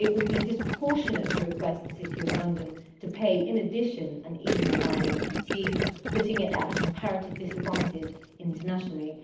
It would be disproportionate to request the City of London to pay in addition an EU wide FTT, putting it at a comparative disadvantage internationally.